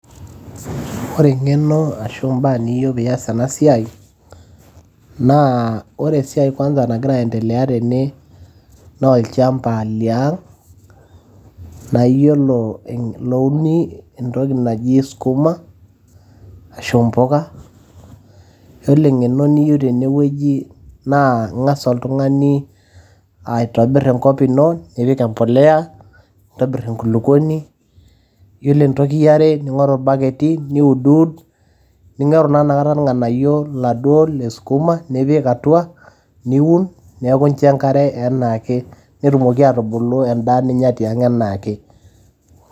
ore eng'eno ashu imbaa niyieu piiyas ena siai naa ore esiai kwanza nagira ae endelea tene naa olchamba liang naayiolo, louni entoki naji skuma ashu impuka yiolo eng'eno niyieu tenewueji naa ing'as oltung'ani aitobirr enkop ino nipik empoleya nintobirr enkulukuoni yiolo entoki yiare ning'oru irbaketi niudiwud, ning'oru taa inakata irnganayio iladuo leskuma nipik atua niun neeku incho enkare enaake netumoki atubulu endaa ninya tiang enaake.